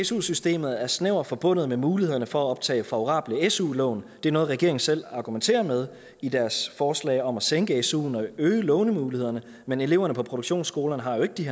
su systemet er snævert forbundet med mulighederne for at optage favorable su lån det er noget regeringen selv argumenterer med i deres forslag om at sænke suen og øge lånemulighederne men eleverne på produktionsskolerne har jo ikke de